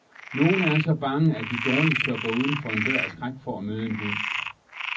Nogle er så bange, at de dårligt tør gå uden for en dør af skræk for at møde en hund.